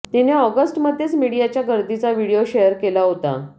तिने ऑगस्टमध्येच मीडियाच्या गर्दीचा व्हिडीओ शेअर केला होता